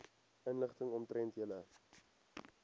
inligting omtrent julle